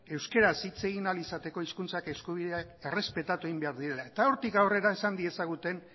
euskaraz hitz egin ahal izateko hizkuntza eskubidea errespetatu egin behar direla eta hortik aurrera esan diezaguten